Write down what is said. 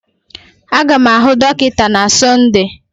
Aga m ahụ dọkịta na Sọnde